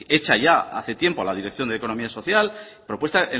hecha ya hace tiempo la dirección de economía social propuesta